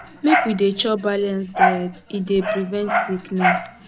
make we dey chop balanced diet e dey prevent sickness